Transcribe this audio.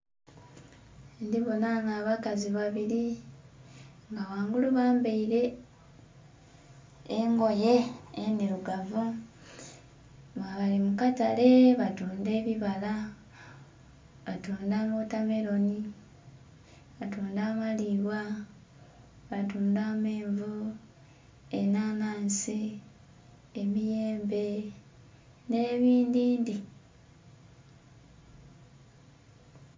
Ndhi bonha ghanho abakazi babili nga ghangulu bambaile engoye endhilugavu nga bali mu katale batundha ebibala, batundha wotameloni, batundha amalibwa, batundha ameenvu, enhanhansi, emiyembe nh'ebindhindhi.